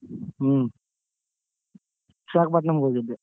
ಉಮ್ ವಿಶಾಖಪಟ್ನಮ್ಮ್ಗ್ ಹೋಗಿದ್ದೆ.